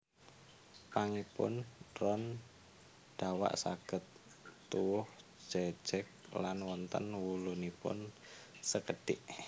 Pangipun ron dawa saged tuwuh jejeg lan wonten wulunipun sekedhik